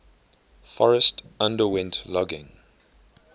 forest underwent logging